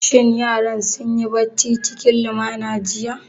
Shin yaran sun yi bacci cikin lumana jiya?